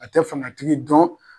A tɛ fangatigi dɔn